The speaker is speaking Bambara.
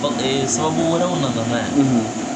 sababu wɛrɛw nana n'a ye.